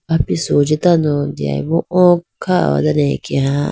apisu hunji deyayi bo o kha ho dane akeya.